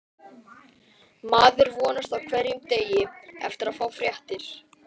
Maður vonast á hverjum degi eftir að fá fréttir.